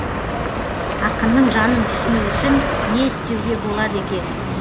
ақынның жанын түсіну үшін не істеуге болады екен